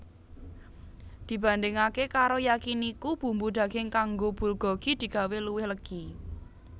Dibandingaké karo Yakiniku bumbu daging kanggo bulgogi digawé luwih legi